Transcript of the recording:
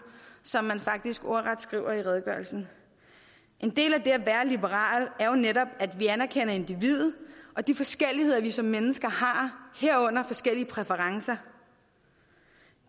som man faktisk ordret skriver i redegørelsen en del af det at være liberal er jo netop at vi anerkender individet og de forskelligheder vi som mennesker har herunder forskellige præferencer